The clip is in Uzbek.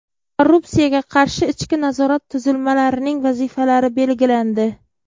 Korrupsiyaga qarshi ichki nazorat tuzilmalarining vazifalari belgilandi.